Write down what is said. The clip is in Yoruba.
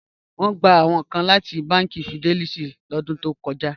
Wọn gbà awọn kàn láti bánkì Fidelity ní ọ̀dún tó kọ́já